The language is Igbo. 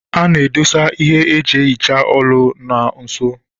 A na-edosa ihe eji ehicha olu na nso.